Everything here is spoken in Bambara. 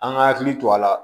An ka hakili to a la